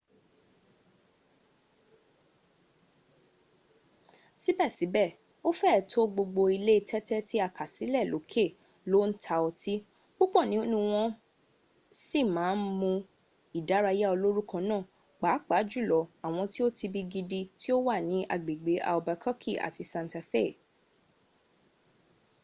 síbèsíbè o féè to gbogbo ilé tẹ́tẹ́ ti a kà sílè lókè lo n ta ọtí púpọ̀ nínú wọn wọn si ma n mú ìdárayá olórúkọ na pàápàá jùlọ àwọn ti o tibi gidi ti o wa ní agbẹ̀gbẹ̀ albuquerque àti santa fei